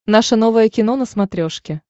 наше новое кино на смотрешке